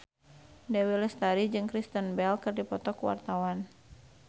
Dewi Lestari jeung Kristen Bell keur dipoto ku wartawan